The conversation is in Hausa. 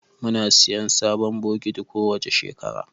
Muna siyan sabon bokiti kowace shekara